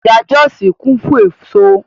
Ọjà Jọ́òsì kún fún èso